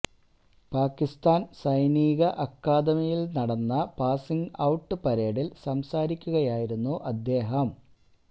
പാക്കിസ്ഥാൻ സൈനിക അക്കാദമിയിൽ നടന്ന പാസിങ് ഔട്ട് പരേഡിൽ സംസാരിക്കുകയായിരുന്നു അദ്ദേഹം